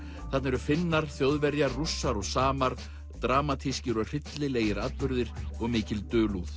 þarna eru Finnar Þjóðverjar Rússar og samar dramatískir og hryllilegir atburðir og mikil dulúð